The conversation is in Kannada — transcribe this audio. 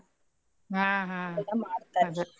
ಹಾ ಹಾ ಮಾಡ್ತಾರ.